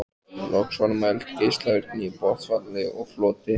Loks var mæld geislavirkni í botnfalli og floti.